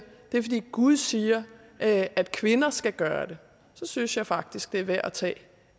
det er fordi gud siger at at kvinder skal gøre det så synes jeg faktisk det er værd at tage